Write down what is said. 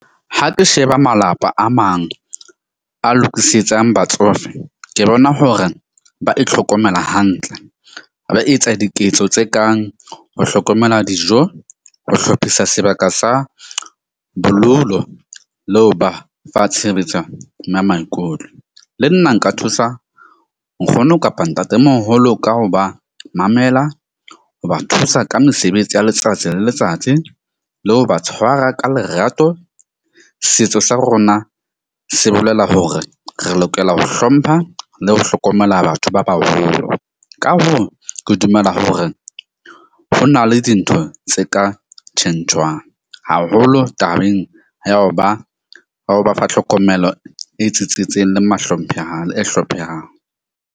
Ha ke sheba malapa a mang a lokisetsang batsofe, ke bona hore ba itlhokomela hantle. Ba etsa diketso tse kang ho hlokomela dijo, ho hlophisa sebaka sa , le ho ba fa tshebetso ya maikutlo. Le nna nka thusa nkgono kapa ntatemoholo ka ho ba mamela ho ba thusa ka mesebetsi ya letsatsi le letsatsi, le ho ba tshwara ka lerato. Setso sa rona se bolela hore re lokela ho hlompha le ho hlokomela batho ba baholo. Ka hoo, ke dumela hore ho na le dintho tse ka tjhentjhwang haholo tabeng ya ho ba wa ho ba fa tlhokomelo e tsitsitseng le e hlomphehang.